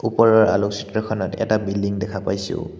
ওপৰৰ আলোকচিত্ৰখনত এটা বিল্ডিং দেখা পাইছোঁ।